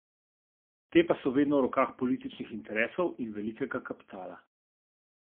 Te pa so vedno v rokah političnih interesov in velikega kapitala.